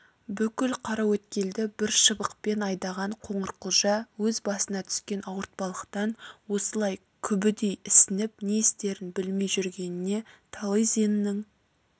бүкіл қараөткелді бір шыбықпен айдаған қоңырқұлжа өз басына түскен ауыртпалықтан осылай күбідей ісініп не істерін білмей жүргенінде талызинның